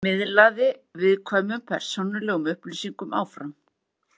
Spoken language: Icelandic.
Miðlaði viðkvæmum persónulegum upplýsingum áfram